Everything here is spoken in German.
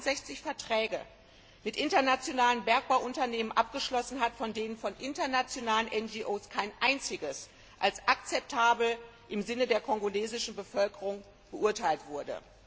61 Verträge mit internationalen Bergbauunternehmen abgeschlossen hat, von denen von internationalen NGO kein einziger als akzeptabel im Sinne der kongolesischen Bevölkerung beurteilt wurde?